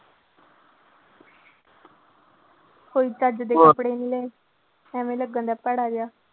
ਕੋਈ ਚੱਜ ਦੇ ਕੱਪੜੇ ਨੀ ਲਏ ਐਵੇਂ ਲੱਗੇਂਗਾ ਭੈੜਾ ਜਿਹਾ।